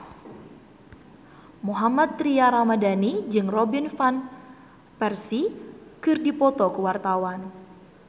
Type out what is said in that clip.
Mohammad Tria Ramadhani jeung Robin Van Persie keur dipoto ku wartawan